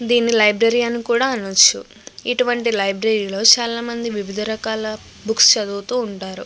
దీని లైబ్రరీ అని కూడ అనచ్చు. ఇటు వంటి లైబ్రరీ లో చాలా మంది వివిధ రకాల బుక్స్ చదువుతూ ఉంటారు.